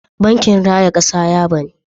Bankin raya kasa ya bani.